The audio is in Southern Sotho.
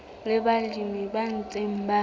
le balemi ba ntseng ba